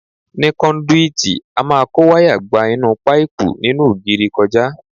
Ní kọ́ndúìtì, a máa kó wayà gba inú páìpù nínú ògiri kọjá.